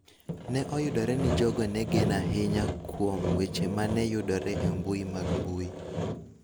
Ne oyudore ni jogo ne geno ahinya kuom weche ma ne yudore e mbui mag mbui .